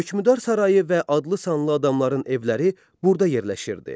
Hökümdar sarayı və adlı-sanlı əmirlərin evləri burada yerləşirdi.